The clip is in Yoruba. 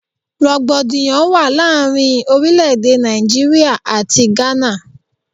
Rògbòdìyàn wà láàárín orílẹ̀-èdè Nàìjíríà àti Gana.